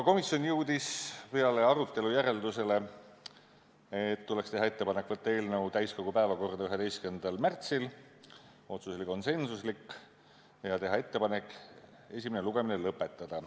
Komisjon jõudis peale arutelu järeldusele, et tuleks teha ettepanek võtta eelnõu täiskogu päevakorda 11. märtsiks – otsus oli konsensuslik – ja teha ettepanek esimene lugemine lõpetada.